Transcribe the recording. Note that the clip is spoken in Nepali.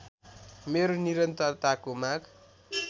मेरो निरन्तरताको माग